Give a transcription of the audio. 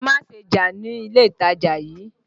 Ẹ má ṣe jà ní ilé ìtajà yìí!